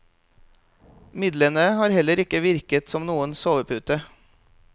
Midlene har heller ikke virket som noen sovepute.